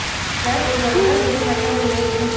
பின்னர் உங்கள் உடல் வெறும் வைட்டமின் ஏ இல்லை